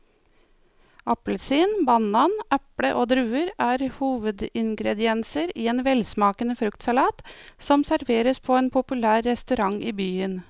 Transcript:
Appelsin, banan, eple og druer er hovedingredienser i en velsmakende fruktsalat som serveres på en populær restaurant i byen.